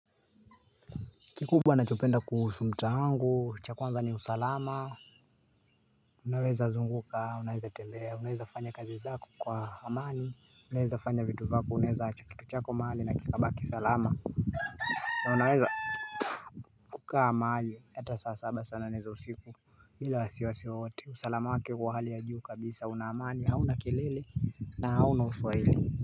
Kikubwa ninachopenda kuhusu mtaa wangu, cha kwanza ni usalama. Unaweza zunguka unaweza tembea unaweza fanya kazi zako kwa amani unaweza fanya vitu vyako unaweza aja kitu chako mahali na kikabaki salama na unaweza kukaa mahali ata saa saba saa nane za usiku bila wasiwasi wowote, usalama wake huwa hali ya juu kabisa, una amani, hauna kelele na hauna usumbufu.